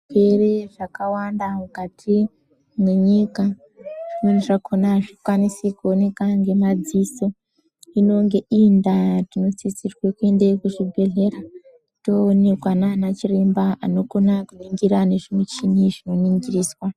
Zvirwere zvakawanda mukati menyika zvimweni zvakona azvikwanisi kuoneka ngemaziso inenge iri nda inosisirwa kuenda kuzvibhedhlera toonekwa nana chiremba anokona kuningira nemichini izvo zvinoningiriswa.